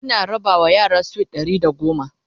Ina raba ma yara sweet Ɗari da goma